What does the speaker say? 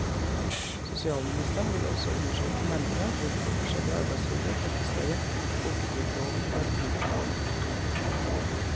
Sosialministeren vil også undersøke nærmere hvorfor forskjellige arbeidsgivere praktiserer folketrygdloven på en ulik måte.